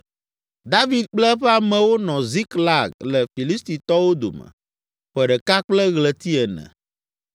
David kple eƒe amewo nɔ Ziklag le Filistitɔwo dome, ƒe ɖeka kple ɣleti ene.